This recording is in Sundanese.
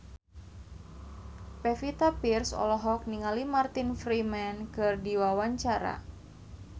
Pevita Pearce olohok ningali Martin Freeman keur diwawancara